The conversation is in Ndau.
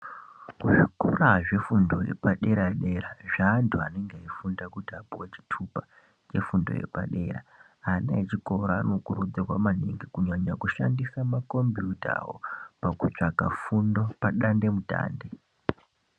Kuzvikora zvefundo yepadera dera zveandu anenge veifunda kuti apuwe chitupa chefundo yepadera ana echikora anokurudzirwa maningi kunyanya kushandisa makombiyuta awo pakutsvaga fundo padande mutande.